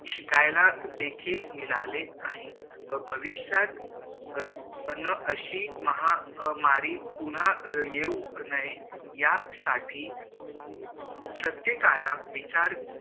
शिकायला देखील मिळाले आहे भविष्यात अह अशी महामारी पुन्हा येऊ नये यासाठी प्रत्येकाला विचार